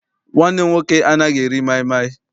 Nwanne m nwoke anaghị eri maịmaị.